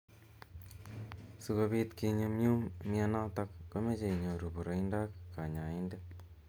Sikobit kinyum nyum mnyenotok komeche inyoru boroindo ak kanyoindet.